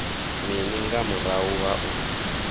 mini nga murahu ha u